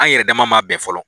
An yɛrɛ dama ma bɛn fɔlɔ.